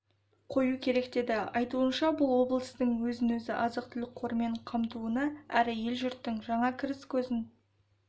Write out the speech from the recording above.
қою керек деді айтуынша бұл облыстың өзін-өзі азық-түлік қорымен қамтуына әрі ел-жұрттың жаңа кіріс көзін